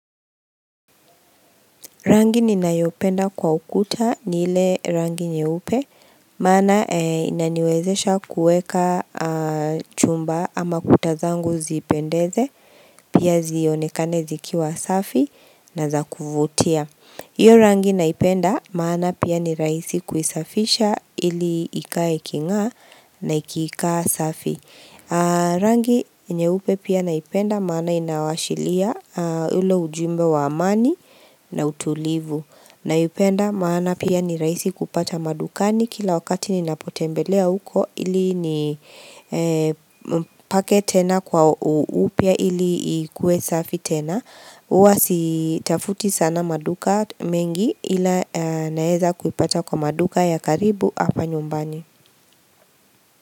Rangi ninayopenda kwa ukuta ni ile rangi nyeupe, maana inaniwezesha kuweka chumba ama kuta zangu zipendeze, pia zionekane zikiwa safi na za kuvutia. Iyo rangi naipenda maana pia ni raisi kuisafisha ili ikae iking'aa na ikiikaa safi Rangi nyeupe pia naipenda maana inawashilia ule ujumbe wa amani na utulivu Naipenda maana pia ni rahisi kupata madukani kila wakati ninapotembelea huko ili nipake tena kwa upya ili ikue safi tena Uwa sitafuti sana maduka mengi ila naeza kuipata kwa maduka ya karibu hapa nyumbani.